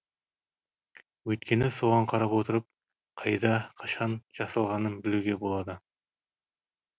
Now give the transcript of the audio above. өйткені соған қарап отырып қайда қашан жасалғанын білуге болады